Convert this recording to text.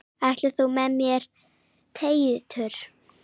Ætlar þú með mér Teitur!